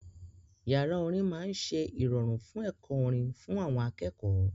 Yàrá orin máa ń ṣe ìrọ̀rùn fún ẹ̀kọ́ orin fún àwọn akẹ́kọ̀ọ́.